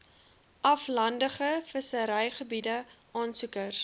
aflandige visserygebiede aansoekers